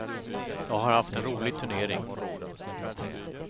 Jag har haft en rolig turnering.